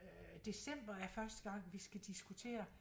Øh december er første gang vi skal diskutere